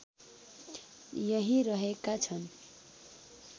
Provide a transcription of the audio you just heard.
यहीँ रहेका छन्